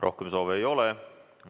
Rohkem soove ei ole.